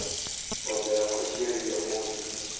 Ng'ombe yakwa ĩciarire ũmũthĩ